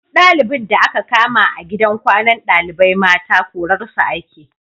Duk ɗalibin da aka kama a gidan kwanan ɗalibai mata korarsa ake